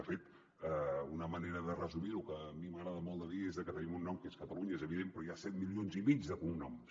de fet una manera de resumir ho que a mi m’agrada molt dir és que tenim un nom que és catalunya és evident però hi ha set milions i mig de cognoms